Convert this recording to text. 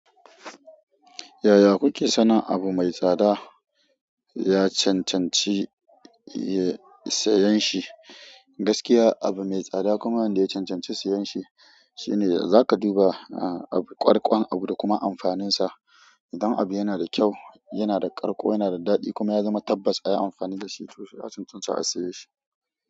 Yaya kuke sanin abu mai tsada ya cancanci, ya, sayan shi? Gaskiya abu mai tsada kuma wanda ya cancanci sayan shi shine zaka duba a, a kwarkwan abu da kuma amfaninsa. Idan abu yana da kyau, yana da ƙarko, yana da daɗi kuma ya zama tabbas ayi amfani da shi, to sai a cancanci a saye shi.